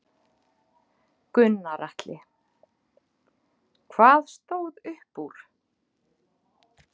Gunnar Atli: Hvað stóð upp úr?